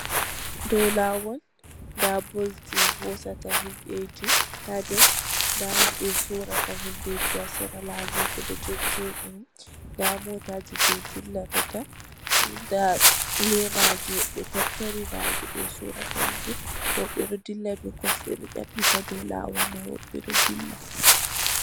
Dow lawol nda bus ji hosata himɓeji ha nder, nda himɓeji sorrata hundeji ha sera lawol ɓeɗo jojjoɗini, nda motaji je dillitatta nda lemaji woɓɓe ɗo tattari nange ɓe sorrata hunde, woɓɓe ɗou dilla be kosɗe ɗo dyaɓɓita ɗow lawol man woɓɓe ɗou dilla.